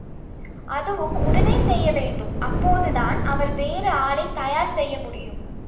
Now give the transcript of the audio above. அதுவும் உடனடியாக செய்ய வேண்டும் அப்போதுதான் அவர் வேறு ஆளை தயார் செய்ய முடியும்